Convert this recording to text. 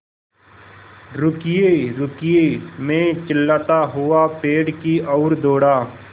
रुकिएरुकिए मैं चिल्लाता हुआ पेड़ की ओर दौड़ा